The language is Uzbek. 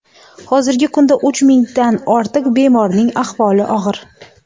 Hozirgi kunda uch mingdan ortiq bemorning ahvoli og‘ir.